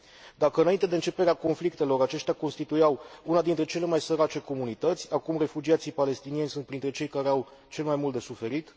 Dacă, înainte de începerea conflictelor, aceștia constituiau una dintre cele mai sărace comunități, acum refugiații palestinieni sunt printre cei care au cel mai mult de suferit.